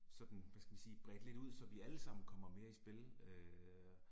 Sådan, hvad skal vi sige, bredt lidt ud så vi alle sammen kommer med i spil øh